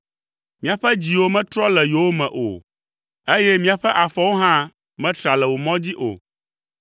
Míaƒe dziwo metrɔ le yowòme o, eye míaƒe afɔwo hã metra le wò mɔ dzi o.